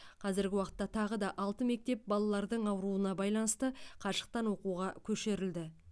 қазіргі уақытта тағы алты мектеп балалардың ауруына байланысты қашықтан оқуға көшірілді